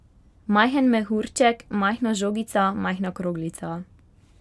Majhen mehurček, majhna žogica, majhna kroglica.